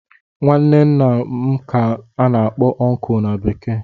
Nwanne ńnà m ka ana akpọ "uncle" na bekee.